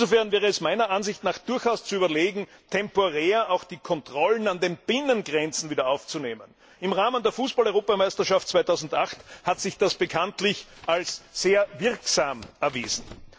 Insofern wäre es meiner Ansicht nach durchaus zu überlegen, temporär auch die Kontrollen an den Binnengrenzen wieder aufzunehmen. Im Rahmen der Fußball Europameisterschaft 2008 hat sich das bekanntlich als sehr wirksam erwiesen.